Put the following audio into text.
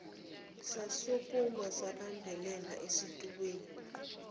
sasukuma sabambelela esitulweni